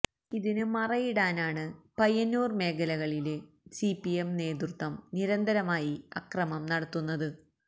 ഇതിന് മറയിടാനാണ് പയ്യന്നൂര് മേഖലകളില് സിപിഎം നേതൃത്വം നിരന്തരമായി അക്രമം നടത്തുന്നത്